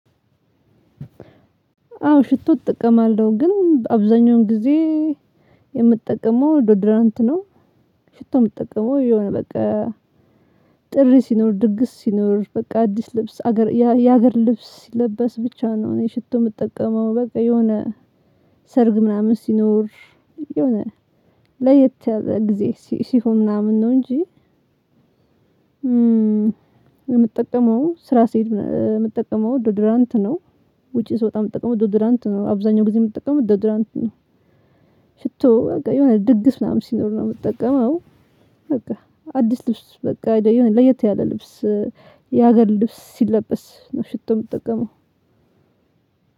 አዎ ሽቶ እጠቀማለው ግን አብዛኛውን ጊዜ የምጠቀመው ዶድራንት ነው። ሽቶም ምጠቀመው የሆነ በቃ ጥሪ ሲኖር ድግስ ሲኖር በቃ አዲስ ልብስ ሀገር የሀገር ልብስ ሲለበስ ብቻ ነው። እኔ ሽቶ የምጠቀመው በቃ የሆነ ሰርግ ምናምን ሲኖር የሆነ ለየት ያለ ጊዜ ሲሆን ምናምን ነው እንጂ። የምጠቀመው ስራ ስሄድ የምጠቀመው ዶድራንት ነው። ውጪ ስወጣ የምጠቀመው ዶዶራንት ነው አብዛኛውን ጊዜ የምጠቀመው ዶዶራንት ነው። ሽቶ በቃ የሆነ ድግስ ምናምን ሲኖር ነው የምጠቀመው። በቃ አዲስ ልብስ ወይም ደግሞ ለየት ያለ ልብስ የሀገር ልብስ ሲለበስ ነው ሽቶ የምጠቀመው።